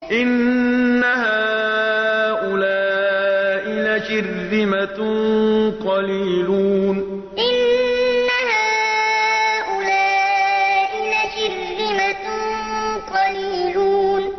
إِنَّ هَٰؤُلَاءِ لَشِرْذِمَةٌ قَلِيلُونَ إِنَّ هَٰؤُلَاءِ لَشِرْذِمَةٌ قَلِيلُونَ